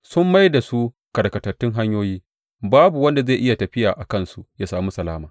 Sun mai da su karkatattun hanyoyi; babu wanda zai yi tafiya a kansu ya sami salama.